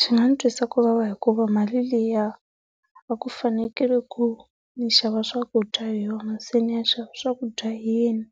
Swi nga ni twisa kuvava hikuva mali liya a ku fanekele ku ni xava swakudya hi yona se ni ya xava swakudya hi yini?